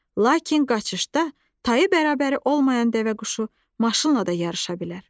Lakin qaçışda tayı bərabəri olmayan dəvəquşu maşınla da yarışa bilər.